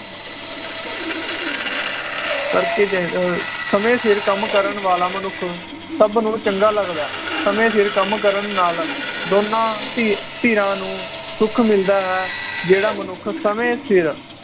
ਕਰਕੇ ਚਾਹੀਦੇ ਅਹ ਸਮੇ ਸਿਰ ਕੰਮ ਕਰਨ ਵਾਲਾ ਮਨੁੱਖ ਸਬ ਨੂੰ ਚੰਗਾ ਲੱਗਦਾ ਸਮੇ ਸਿਰ ਕੰਮ ਕਰਨ ਨਾਲ ਦੋਨਾਂ ਧੀਰ ਧੀਰਾਂ ਨੂੰ ਸੁਖ ਮਿਲਦਾ ਹੈ ਜਿਹੜਾ ਮਨੁੱਖ ਸਮੇ ਸਿਰ